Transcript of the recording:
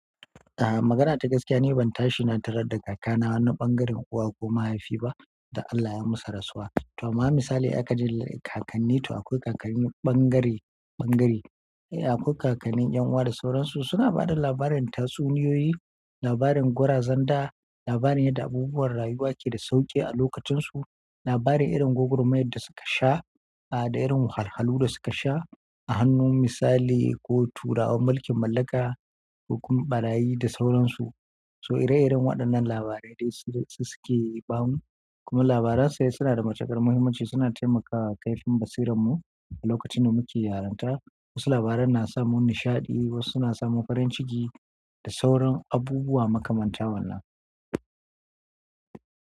Aha, magana ta gaskiya ne ban tashi na tarar da kakana na ɓangaren uwa ko mahaifi ba dan Allah ya musu rasuwa. To amma misali aka ji kakanni to akwai kakanni ɓangare, ɓangare. E akwai kakanni 'yanuwa da sauransu suna ba da labarin tatsuniyoyi, labarin gwarazan da, labarin yadda abubuwan rayuwa ke da sauƙi a lokacinsu, labarin irin gwagwarmayar da suka sha, aha da irin wahalhalu da suka sha a hannun misali ko turawan mulkin mallaka, ko kuma ɓarayi da sauransu. To ire iren waɗannan labaran yawanci su suke bamu kuma labaran sai suna da matuƙar muhimmanci suna taimakawa kaifin basiranmu a lokacin da muke yaranta. Wasu labaran na sa mun nishaɗi, wasu suna sa mu farin ciki da sauran abubuwa makamanta wannan.